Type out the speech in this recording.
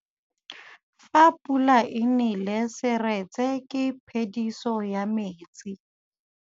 Fa pula e nelê serêtsê ke phêdisô ya metsi.